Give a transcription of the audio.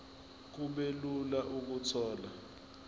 kube lula ukuthola